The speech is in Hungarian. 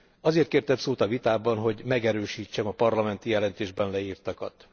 Azért kértem szót a vitában, hogy megerősítsem a parlamenti jelentésben leírtakat.